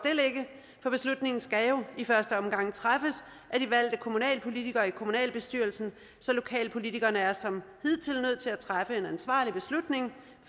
det beslutningen skal jo i første omgang træffes af de valgte kommunalpolitikere i kommunalbestyrelserne så lokalpolitikerne er som hidtil nødt til at træffe en ansvarlig beslutning